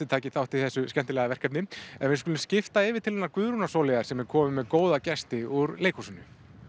taki þátt í þessu skemmtilega verkefni en við skulum skipta yfir til hennar Guðrúnar Sóleyjar sem er komin með góða gesti úr leikhúsinu